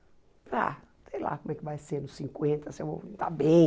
Ah, sei lá como é que vai ser nos cinquenta, se eu vou estar bem.